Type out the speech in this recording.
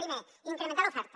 primer incrementar l’oferta